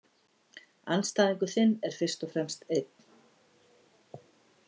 Andstæðingur þinn er fyrst og fremst einn.